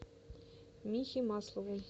михе маслову